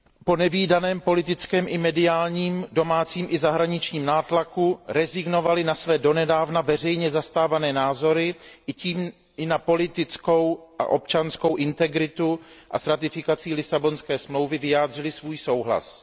po nevídaném politickém i mediálním, domácím i zahraničním nátlaku rezignovali na své donedávna veřejně zastávané názory, a tím i na politickou a občanskou integritu a s ratifikací Lisabonské smlouvy vyjádřili svůj souhlas.